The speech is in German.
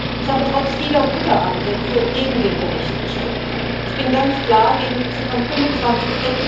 Ich habe trotz vieler guter Ansätze gegen den Bericht gestimmt. Ich bin ganz klar gegen die Ziffern 25,